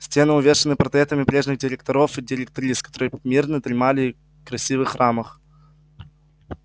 стены увешаны портретами прежних директоров и директрис которые мирно дремали в красивых рамах